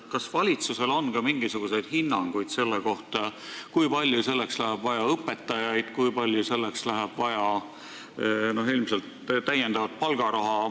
Kas valitsusel on ka mingisuguseid hinnanguid selle kohta, kui palju selleks läheb vaja õpetajaid ja kui palju on vaja juurde palgaraha?